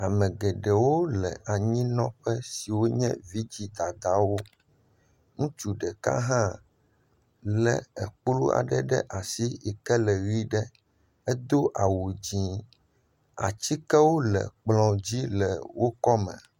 Ame geɖewo wole anyi nɔ ƒe siwo nye vidzi dadawo. Ŋutsu ɖeka hã le ekplu ɖe ɖe asi ke le ɣi ɖe. Edo awu dzɛ. Ati aɖewo le ekplɔ dzi le woƒe akɔme.